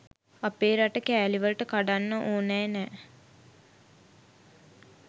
අපේ රට කෑලිවලට කඩන්න ඕනැ නෑ